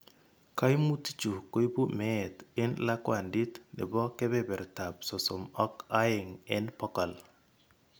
Kaimutikchu ko ibu meet eng' lakwandit nebo kebertab sosom ak aeng' eng' bokol.